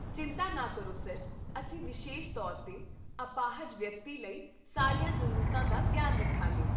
ਚਿੰਤਾ ਨਾ ਕਰੋ, ਸਰ, ਅਸੀਂ ਵਿਸ਼ੇਸ਼ ਤੌਰ 'ਤੇ ਅਪਾਹਜ ਵਿਅਕਤੀ ਲਈ ਸਾਰੀਆਂ ਜ਼ਰੂਰਤਾਂ ਦਾ ਧਿਆਨ ਰੱਖਾਂਗੇ